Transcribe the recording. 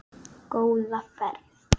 Góða ferð